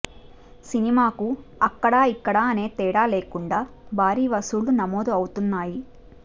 cinema కు అక్కడ ఇక్కడ అనే తేడా లేకుండా భారీ వసూళ్లు నమోదు అవుతున్నాయి